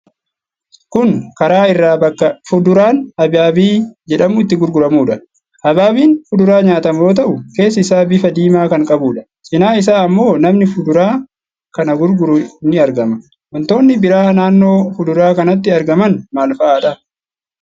Kun karaa irra bakka fuduraan Habaabii jedhamu itti gurguramuudha. Habaabiin fuduraa nyaatamu yoo ta'u, keessi isaa bifa diimaa kan qabuudha. Cinaa isaa ammoo namni fuduraa kana gurguru ni argama. Wantoonni biraa naannoo fuduraa kanaatti argaman maal fa'aadha?